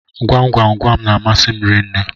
Gwam gwam gwam n'amasi m rinne